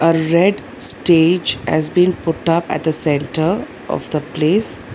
A red stage has been put up at the centre of the place.